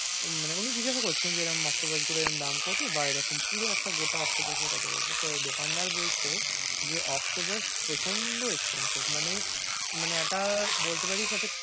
মানে উনি জিজ্ঞাসা করছেন যে, এরম octopus গুলো এরম দাম কতো বা এরকম পুরো একটা গোটা octopus কতো পড়বে? তো দোকানদার বলছে, যে octopus প্রচণ্ড expensive মানে মানে এটা বলত পারিস,